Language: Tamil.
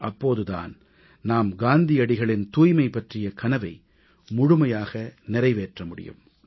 அப்போது தான் நாம் காந்தியடிகளின் தூய்மை பற்றிய கனவை முழுமையாக நிறைவேற்ற முடியும்